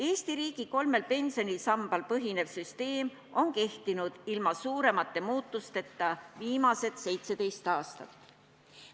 Eesti riigi kolmel sambal põhinev pensionisüsteem on kehtinud ilma suuremate muutusteta viimased 17 aastat.